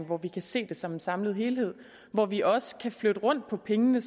hvor vi kan se det som en samlet helhed og hvor vi også kan flytte rundt på pengene